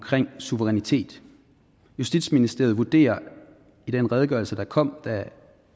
suverænitet justitsministeriet vurderer i den redegørelse der kom da